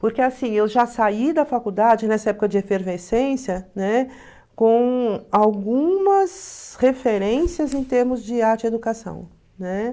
Porque assim, eu já saí da faculdade nessa época de efervescência, né, com algumas referências em termos de arte e educação, né?